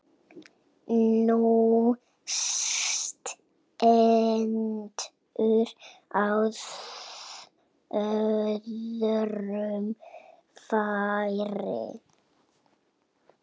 Hún stendur á öðrum fæti.